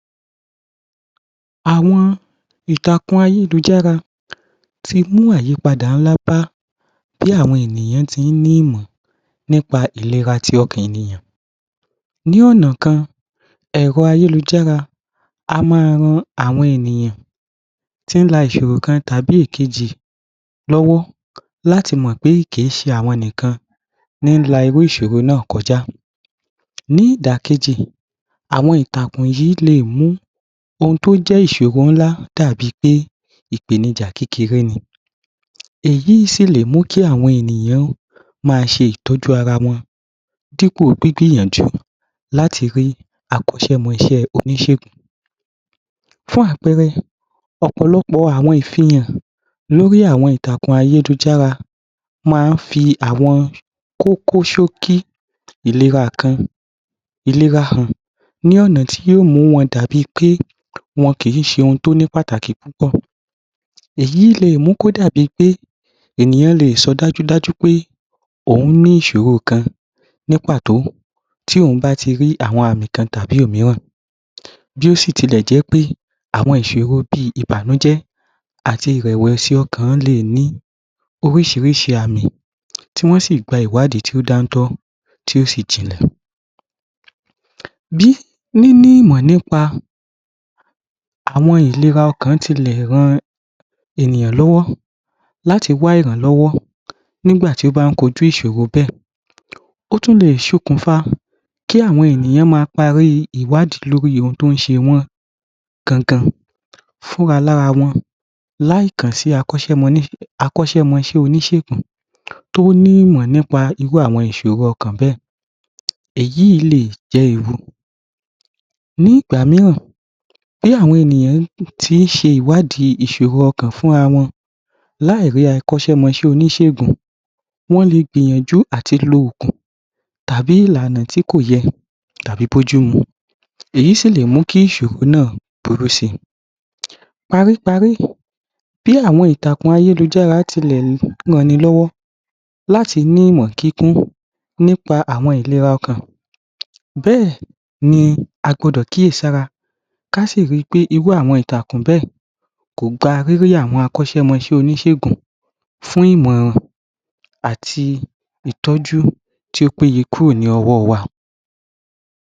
Àwọn ìtàkùn ayélujára ti mú ayípadà ńlá bá bí àwọn ènìyàn ti í ní ìmọ̀ nípa ìlera ti ọ̀kàn ní ọ̀nà kan ẹ̀ro ayélujára a má a ran àwọn ènìyàn tí í la iṣọro kan tàbi ìkẹjì láti mọ̀pé kìí ṣe àwọn nìkan ní ń la irú ìṣòro náà kọjá. Ní ìdàkejì àwọn ìtàkùn yìí le è mú oun tó jẹ́ iṣòro ńlá dàbí pé ìpènihà kékeré ni èyí sí ì lè mú kí àwọn ènìyàn ma ṣe ìtọ́jú ara won dípò gbígbìyànjú láti rí akọ́ṣẹ́mọṣẹ́ oníṣẹ̀gún fun àpẹ́ẹ́rẹ́ ọ̀pọ̀lọ́pọ̀ àwọn ìfìhàn lórí àwọn ìtàjùn ayélujára maa ń fi i kókó ṣókí ìléra kan ìléra hàn ní ọ̀nà tí ò mú wọ́n dàbí ẹni pé wọn kìí ṣe oun tó ní pàtàkì púpọ̀ èyí le è mú kó dàbi pé ènìyàn le è so dájúdájú pé òun ní isòro kan ní pàtó tí òun bá ti rí àwọn àmì kan tàbí òmíràn bí ó sì tilẹ̀ jẹ́pé àwọn iṣòrò bí i ìbànújẹ́ àti ìrẹ̀wẹ̀sì ọ̀kàn le è ní oríṣiríṣi amí tí wọ́n sì gba a ìwádìì tíó ń dáńtọ́ tí ó sì jinlẹ̀. Bí níní ìmọ̀ nípa àwọn ìlera ọkàn tilẹ̀ ran àwọ̀n ẹ̀nìyàn lọ́wọ́ láti wá irànlọ́wọ́ nígbà tí wón bá kojú irú iṣòro bẹ́ ẹ̀ ótúnlẹ sokùnfà tí àwọn ènìyàn ma a parí ìwádìì lórí oun tó ń ṣe wọ́n gangan fún ra lára wọn láì kànsì akánṣẹ́mọṣẹ́ oníṣégún tó ní ìmọ̀ nípa iṣòrò ọ̀kàn bè éyí lé è jẹ́ ìrù nígbà míràn bí àwọ̀n ènìyàn ti í ṣe ìwádìí iṣoro ọ̀kàn fún ra wọn láírí akọ́ṣẹ́mọṣẹ́ oníṣègùn wọ́n lé gbìyànjú àti lo ògùn tàbi ìlànà tí kòyẹ tàbí bójúmu èyí sílè mú kí isòro náà burú si. Paríparí bí àwọn ìtàkùn ayélujàrá tilẹ̀ rannilọ́wọ́ láti ní ìmò kíkún nípa àwọn ìlera ọ̀kàn bẹ́ẹ̀ ní agbọdọ̀ kíyèsára ká sì ri i pé irú àwọn ìtàkùn bẹ́ẹ̀ kò gba rírrí àwọn akọ́ṣẹ́mọṣẹ́ oníṣégún fún ìmọ̀ràn àti ìtọju tó ó péye tíó péye kúrò ní ọwọ́ ọ́ wa a.